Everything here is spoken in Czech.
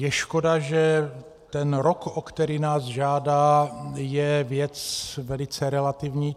Je škoda, že ten rok, o který nás žádá, je věc velice relativní.